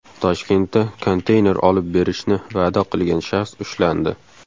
Toshkentda konteyner olib berishni va’da qilgan shaxs ushlandi.